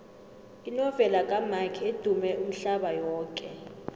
inovela kamark edumme umhlaba yoke